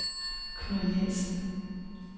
Knud Jessen